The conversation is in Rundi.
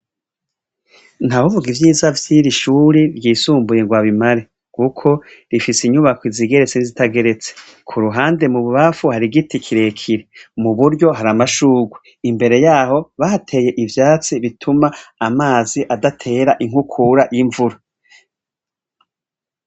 Ntawovuga ivyiza vy'iri shuri ryisumbuye ngw'abimare kuko rifise inyubako zigeretse n'izitageretse kuruhande mu bubamfu har'igiti kirekire, imbere yaho bahateye ivyatsi bituma amazi adatera inkukura y'ivura.